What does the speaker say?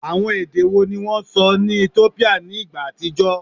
Awọn ede wo ni wọn sọ ni Etiopia ni igba atijọ?